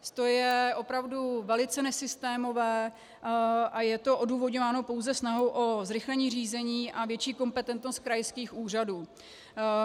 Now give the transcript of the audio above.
To je opravdu velice nesystémové a je to odůvodňováno pouze snahou o zrychlení řízení a větší kompetentnost krajských úřadů.